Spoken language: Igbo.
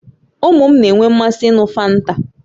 Ụmụ m na-enwe mmasị n'ịn̄ụ fanta